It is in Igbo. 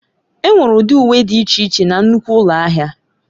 Enwere ụdị uwe dị iche iche na nnukwu ụlọ ahịa.